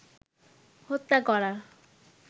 হত্যা করার